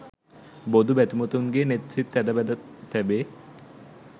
බොදු බැතිමතුන්ගේ නෙත් සිත් ඇඳ බැද තැබේ